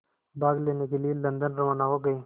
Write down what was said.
भाग लेने के लिए लंदन रवाना हो गए